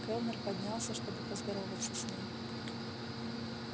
кэллнер поднялся чтобы поздороваться с ней